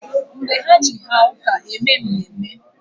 Mgbe ha Je haa uke e mee mmemne